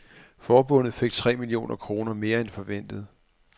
Forbundet fik tre millioner kroner mere end forventet.